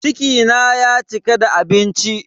Ciki na ya cika da abinci.